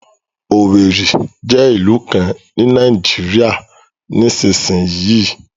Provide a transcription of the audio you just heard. Owerri jẹ́ ìlú kan ní Nàìjíríà nísinsìnyí